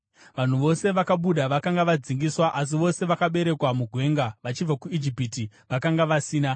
Vanhu vose vakabuda vakanga vadzingiswa asi vose vakaberekerwa mugwenga vachibva kuIjipiti vakanga vasina.